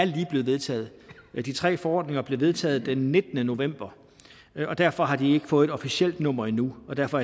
lige er blevet vedtaget de tre forordninger blev vedtaget den nittende november og derfor har de ikke fået et officielt nummer endnu og derfor